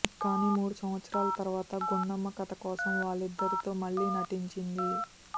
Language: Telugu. కానీ మూడు సంవత్సరాల తర్వాత గుండమ్మ కథ కోసం వారిద్దరితో మళ్లీ నటించింది